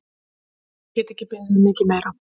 Get ekki beðið um mikið meira!